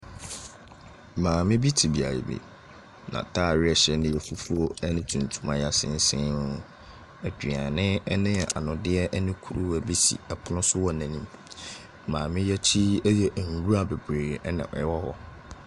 Maame te beaeɛ bi, n’ataare a ɛhyɛ no yɛ fufuo ne tuntum a yɛasensɛn. aduane ne anondeɛ ne kuruwa bi si pono so wɔ n’anim. Maame yi akyi yɛ nwura bebree na ɛwɔ hɔ.